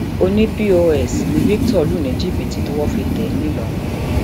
ọní pọs ni victor lù ní jìbìtì tọwọ fi tẹ é ńlọrọin